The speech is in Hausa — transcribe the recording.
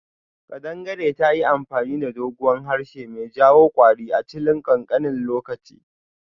Kadangare tayi amfani da doguwan harshe mai jawo kwari a chilin kankanin lokaci.